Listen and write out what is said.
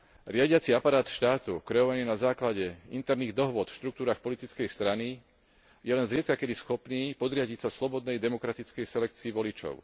Riadiaci aparát štátu kreovaný na základe interných dohôd v štruktúrach politickej strany je len zriedkakedy schopný podriadiť sa slobodnej demokratickej selekcii voličov.